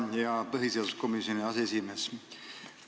Hea põhiseaduskomisjoni aseesimees!